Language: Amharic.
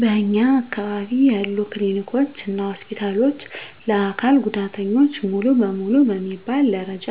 በእኛ አካባቢ ያሉ ክሊኒኮች እና ሆስፒታሎች ለአካል ጉዳተኞች ሙሉ በሙሉ በሚባል ደረጃ